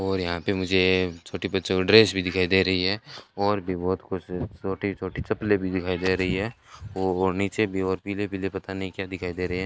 और यहां पे मुझे छोटे बच्चों ड्रेस भी दिखाई दे रही है ओर भी बहुत कुछ छोटी छोटी चप्पलें भी दिखाई दे रही है और नीचे की ओर पीले पीले पता नहीं क्या दिखाई दे रहे है।